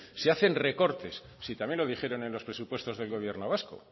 se hacen recortes si también lo dijeron en los presupuestos del gobierno vasco